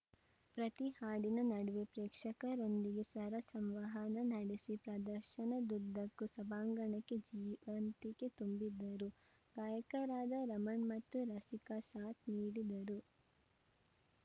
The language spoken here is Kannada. ಪ್ರತಿ ಹಾಡಿನ ನಡುವೆ ಪ್ರೇಕ್ಷಕರೊಂದಿಗೆ ಸ್ವರ ಸಂವಹನ ನಡೆಸಿ ಪ್ರದರ್ಶನದುದ್ದಕ್ಕೂ ಸಭಾಂಗಣಕ್ಕೆ ಜೀವಂತಿಕೆ ತುಂಬಿದರು ಗಾಯಕರಾದ ರಮಣ್‌ ಮತ್ತು ರಸಿಕಾ ಸಾಥ್‌ ನೀಡಿದರು